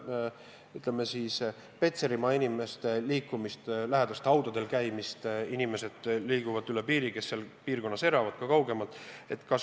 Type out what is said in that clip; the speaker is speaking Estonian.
Mis puudutab Petserimaa inimeste liikumist, lähedaste haudadel käimist, siis jah, inimesed, kes seal piirkonnas elavad, ja ka kaugemad elanikud liiguvad üle piiri.